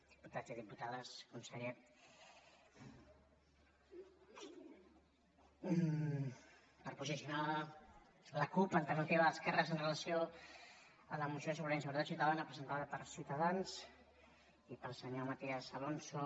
diputats i diputades conseller per posicionar la cup alternativa d’esquerres amb relació a la moció sobre inseguretat ciutadana presentada per ciutadans i pel senyor matías alonso